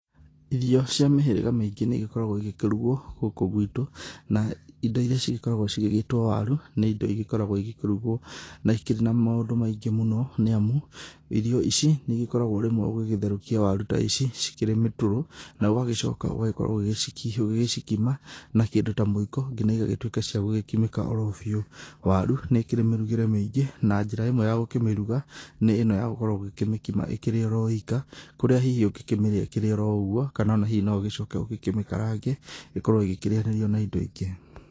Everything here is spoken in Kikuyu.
Irio cia mĩhĩrĩga mĩingĩ nĩigĩkoragwo igĩkĩrugwo gũkũ gwitũ, na indo iria cikoragwo cigĩgĩtwo waru, nĩ indo igĩkoragwo igĩkĩrugwo na ikĩrĩ na maũndũ maingĩ mũno, nĩ amu irio ici nĩ igĩkoragwo rĩmwe ũgĩgĩthwerũkia waru ta ici cikĩrĩ mĩtũrũ, na ũgagĩcoka ũgagĩkorwo ũgĩgĩcikima na kĩndũ ta mũiko, nginya igagituĩka cia gũkimĩka oro biũ. Waru nĩ ĩkĩrĩ mĩrugĩre mĩingĩ na njĩra imwe ya gũkĩmĩruga nĩ ĩno ya gũkorwo ũgĩkĩmĩkima ĩkĩri oro ika, kũria hihi ũngĩkĩmĩrĩa ĩkĩrĩ o ũguo, kana ona hihi no ũgĩcoke ũgĩkĩmĩkarange ĩkorwo ĩgĩkĩrĩanĩrio na indo ingĩ.